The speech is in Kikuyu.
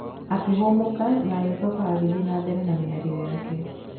Akĩhũmũka na agĩcoka agĩthiĩ na mbere na mĩario yake.